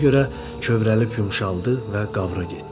Ona görə kövrəlib yumşaldı və qavra getdi.